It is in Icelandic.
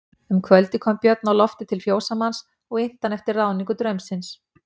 Um kvöldið kom Björn á loftið til fjósamanns og innti hann eftir ráðningu draumsins.